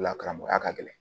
O la karamɔgɔya ka gɛlɛn